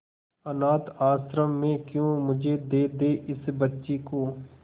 अनाथ आश्रम में क्यों मुझे दे दे इस बच्ची को